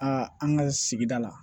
an ka sigida la